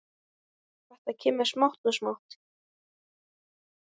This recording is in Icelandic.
Þetta kemur smátt og smátt.